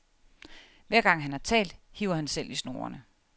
Hver gang, han har talt, hiver han selv i snorene.